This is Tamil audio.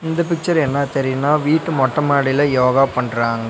இந்த பிச்சர் என்ன தெரியினா வீட்டு மொட்ட மாடில யோகா பண்றாங்க.